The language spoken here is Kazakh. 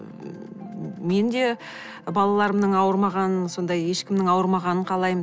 мен де балаларымның ауырмағанын сондай ешкімнің ауырмағанын қалаймын